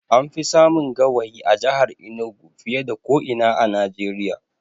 An fi samun gawayi a jahar Enugu fiye da ko ina a Najeriya